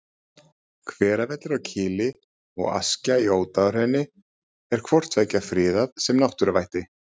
Hveravellir á Kili og Askja í Ódáðahrauni er hvort tveggja friðað sem náttúruvætti.